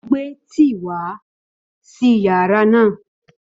Ó gbé tíì wá sí yàrá náà